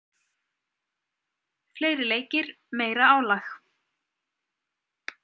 Fleiri leikir, meira álag.